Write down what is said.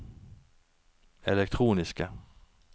elektroniske